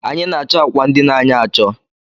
Anyi na-acho âkwà ndina anyị acho